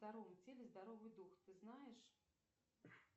в здоровом теле здоровый дух ты знаешь